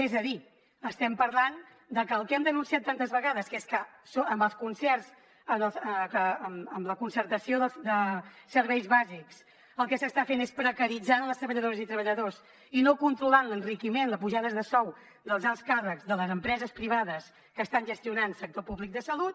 és a dir estem parlant de que el que hem denunciat tantes vegades que és que amb els concerts amb la concertació de serveis bàsics el que s’està fent és precaritzar les treballadores i treballadors i no controlar l’enriquiment les pujades de sou dels alts càrrecs de les empreses privades que estan gestionant sector públic de salut